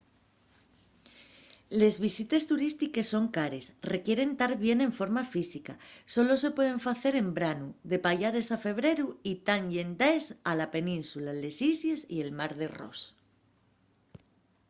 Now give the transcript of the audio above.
les visites turístiques son cares requieren tar bien de forma física solo se pueden facer en branu de payares a febreru y tán llendaes a la península les islles y el mar de ross